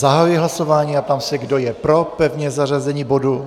Zahajuji hlasování a ptám se, kdo je pro pevné zařazení bodu.